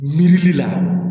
Miiri la